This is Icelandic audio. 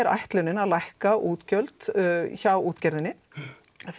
ætlunin að lækka útgjöld hjá útgerðinni